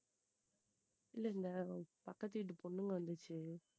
இல்ல இல்ல பக்கத்து வீட்டு பொண்ணுங்க வந்துச்சு